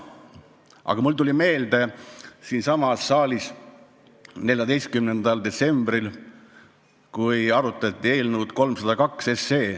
Aga mulle tuli meelde, kuidas siinsamas saalis tunamullu 14. detsembril arutati eelnõu 302.